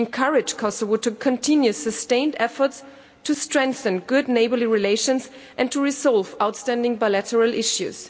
We encourage Kosovo to continue sustained efforts to strengthen good neighbourly relations and to resolve outstanding bilateral issues.